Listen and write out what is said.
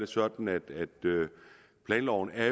sådan at planloven er